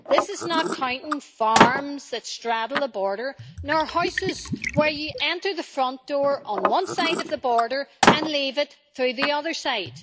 This is not counting farms that straddle the border nor houses where you enter the front door on one side of the border and leave it through the other side.